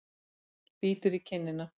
Bítur í kinnina.